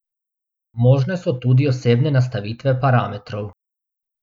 Možne so tudi osebne nastavitve parametrov.